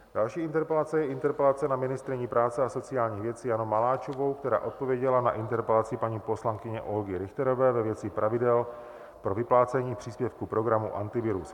Další interpelace je interpelace na ministryni práce a sociálních věcí Janu Maláčovou, která odpověděla na interpelaci paní poslankyně Olgy Richterové ve věci pravidel pro vyplácení příspěvku programu Antivirus.